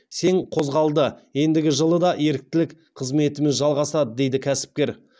сең қозғалды ендігі жылы да еріктілік қызметіміз жалғасады дейді кәсіпкер